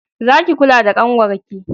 Za ki kula da ƙanwar ki!